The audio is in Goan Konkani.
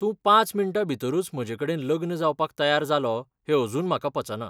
तूं पांच मिण्टां भितरूच म्हजेकडेन लग्न जावपाक तयार जालो हें अजून म्हाका पचना.